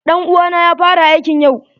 Ɗan uwa na ya fara aikn yau.